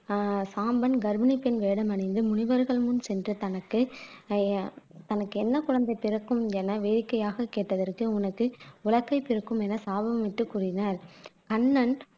ஆஹ் சாம்பன் கர்ப்பிணி பெண் வேடமணிந்து முனிவர்கள் முன் சென்ற தனக்கு ஆஹ் எ தனக்கு என்ன குழந்தை பிறக்கும் என வேடிக்கையாக கேட்டதற்கு உனக்கு உலக்கை பிறக்கும் என சாபம் விட்டு கூறினர் அண்ணன்